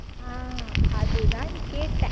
ஆஹ் அது தான் கேட்டேன்